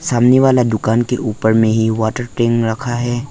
सामने वाला दुकान के ऊपर में ही वाटर टैंक रखा है।